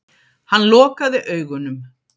Hann lokaði augunum.